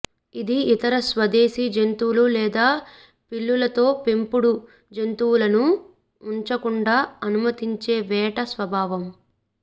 ఇది ఇతర స్వదేశీ జంతువులు లేదా పిల్లులతో పెంపుడు జంతువులను ఉంచకుండా అనుమతించే వేట స్వభావం